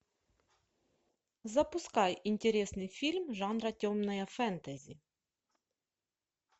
запускай интересный фильм жанра темное фэнтези